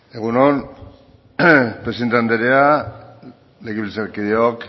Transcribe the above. egun on presidente andrea legebiltzarkideak